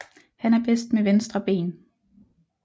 Han er bedst med venstre ben